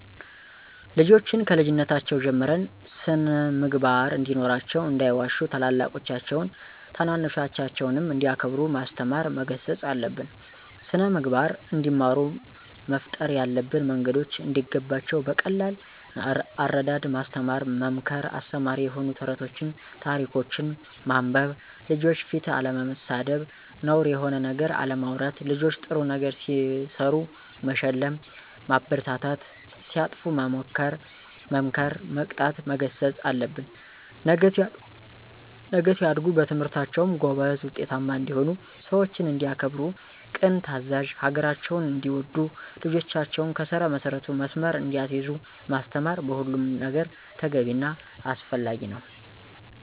ልጆችን ከልጅነታቸው ጀምረን ስን-ምግባር እንዲኖራቸው እንዳይዋሹ ታላላቆቻቸውን ታናናሾቻቸውንም እንዲያከብሩ ማስተማር መገሰፅ አለብን። ስነምግባር እንዲማሩ መፍጠር ያለብን መንገዶች እንዲገባቸው በቀላል አረዳድ ማስተማር መምከር አስተማሪ የሆኑ ተረቶችን ታሪኮችን ማንበብ፣ ልጆች ፊት አለመሳደብ፣ ነውር የሆነ ነገር አለማውራት ልጆች ጥሩ ነገር ሲሰሩ መሸለም ማበረታታት ሲያጠፉ መምከር መቆጣት መገሰፅ አለብን። ነገ ሲያድጉ በትምህርታቸውም ጎበዝ ውጤታማ እንዲሆኑ፣ ሰውችን እንዲያከብሩ፦ ቅን ታዛዥ፣ ሀገራቸውን እንዲወዱ ልጆችን ከስር መሰረቱ መስመር እያሳዙ ማስተማር በሁሉም ነገር ተገቢ እና አስፈላጊ ነው።